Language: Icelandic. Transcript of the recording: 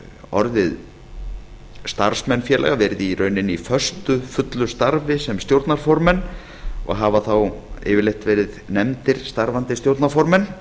orðið starfsmenn félaga verið í rauninni í föstu fullu starfi sem stjórnarformenn og hafa þá yfirleitt verið nefndir starfandi stjórnarformenn